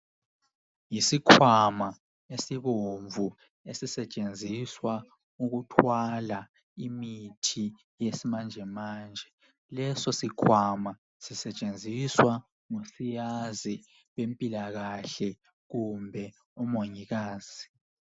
Yisikhwama esibomvu esisetshenziswa ukuthwala imithi yesimanjemanje. Leso sikhwama sisetshenziswa ngusiyazi wempilakahle kumbe umongikazi.